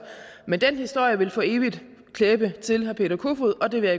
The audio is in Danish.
men den historie vil for evigt klæbe sig til herre peter kofod og det vil